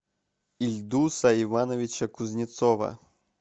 ильдуса ивановича кузнецова